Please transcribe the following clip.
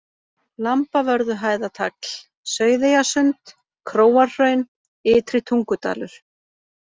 Lambavörðuhæðatagl, Sauðeyjasund, Króarhraun, Ytri-Tungudalur